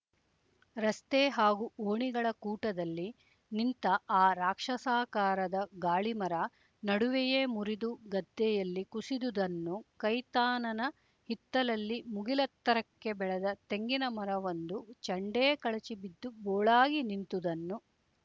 ರಸ್ತೆ ಹಾಗೂ ಓಣಿಗಳ ಕೂಟದಲ್ಲಿ ನಿಂತ ಆ ರಾಕ್ಷಸಾಕಾರದ ಗಾಳಿಮರ ನಡುವೆಯೇ ಮುರಿದು ಗದ್ದೆಯಲ್ಲಿ ಕುಸಿದುದನ್ನು ಕೈತಾನನ ಹಿತ್ತಲಲ್ಲಿ ಮುಗಿಲೆತ್ತರಕ್ಕೆ ಬೆಳೆದ ತೆಂಗಿನಮರವೊಂದು ಚಂಡೇ ಕಳಚಿ ಬಿದ್ದು ಬೋಳಾಗಿ ನಿಂತುದನ್ನು